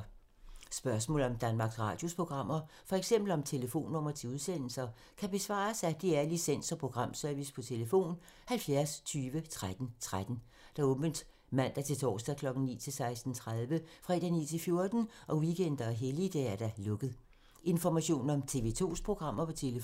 Spørgsmål om Danmarks Radios programmer, f.eks. om telefonnumre til udsendelser, kan besvares af DR Licens- og Programservice: tlf. 70 20 13 13, åbent mandag-torsdag 9.00-16.30, fredag 9.00-14.00, weekender og helligdage: lukket.